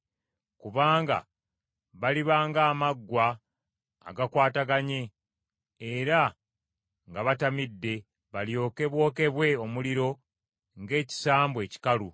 Kubanga baliba ng’amaggwa agakwataganye, era nga batamidde, balyoke bookebwe omuliro ng’ekisambu ekikalu.